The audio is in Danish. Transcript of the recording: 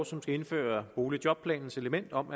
som skal indføre boligjobplanens element om